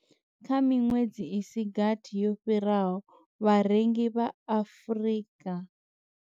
Kha miṅwedzi i si gathi yo fhiraho, vharengi vha Afrika.